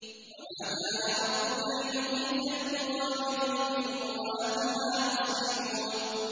وَمَا كَانَ رَبُّكَ لِيُهْلِكَ الْقُرَىٰ بِظُلْمٍ وَأَهْلُهَا مُصْلِحُونَ